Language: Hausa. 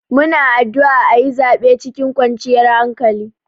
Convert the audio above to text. Muna addu'a aƴi zaɓe cikin kwanciyar hankali.